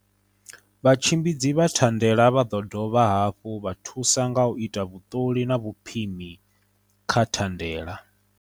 Vhatshimbidzi vha thande la vha ḓo dovha hafhu vha thusa nga u ita vhuṱoli na vhupimi kha thandela.